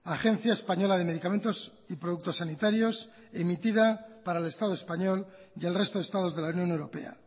agencia española de medicamentos y productos sanitarios emitida para el estado español y el resto de estados de la unión europea